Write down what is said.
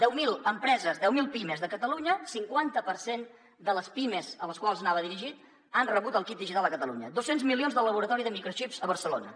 deu mil empreses deu mil pimes de catalunya cinquanta per cent de les pimes a les quals anava dirigit han rebut el kit digital a catalunya dos cents milions del laboratori de microxips a barcelona